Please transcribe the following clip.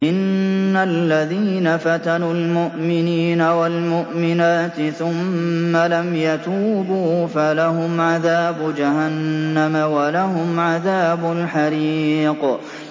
إِنَّ الَّذِينَ فَتَنُوا الْمُؤْمِنِينَ وَالْمُؤْمِنَاتِ ثُمَّ لَمْ يَتُوبُوا فَلَهُمْ عَذَابُ جَهَنَّمَ وَلَهُمْ عَذَابُ الْحَرِيقِ